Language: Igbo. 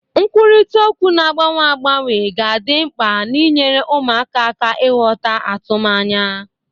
Nkwurịta okwu na-agbanwe agbanwe ga adị mkpa n'inyere ụmụaka aka ịghọta atụmanya.